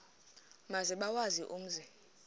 maze bawazi umzi